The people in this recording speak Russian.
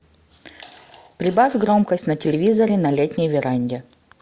прибавь громкость на телевизоре на летней веранде